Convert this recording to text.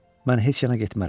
Mən heç yana getmərəm.